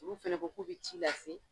Olu fɛnɛ ko k'u bɛ ci lase.